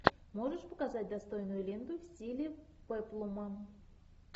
можешь показать достойную ленту в стиле пеплума